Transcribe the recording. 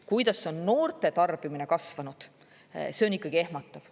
Kuidas on noorte tarbimine kasvanud, see on ikkagi ehmatav.